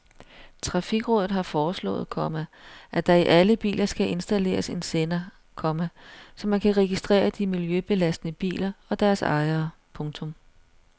Trafikrådet har foreslået, komma at der i alle biler skal installeres en sender, komma så man kan registrere de miljøbelastende biler og deres ejere. punktum